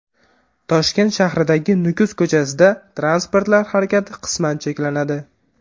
Toshkent shahridagi Nukus ko‘chasida transportlar harakati qisman cheklanadi.